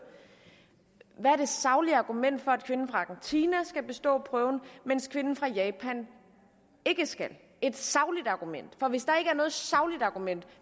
hvad er det saglige argument for at kvinden fra argentina skal bestå prøven mens kvinden fra japan ikke skal et sagligt argument for hvis der ikke er noget sagligt argument